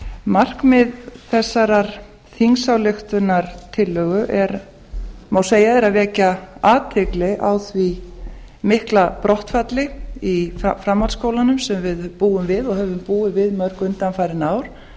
markmið þessarar þingsályktunartillögu má segja er að vekja athygli á því mikla brottfall í framhaldsskólanum sem við búum við og höfum búið við mörg undanfarin ár